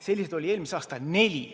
Selliseid oli eelmisel aastal neli.